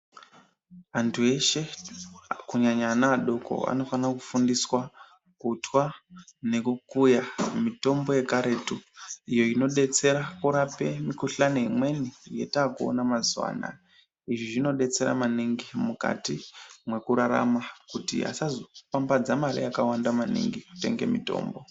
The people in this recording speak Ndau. Antu eshe kunyanya ana anofane kufundiswe kutwa nekukuya mitombo yekaretu iyo inobetsera kurapa mukhulani yekaretu iyo yetakuona mazuwana izvi zvinobetsera maningi mukati mwetakuraramakuti asazopambdza mari yakawandamaningi kutenge mitombo.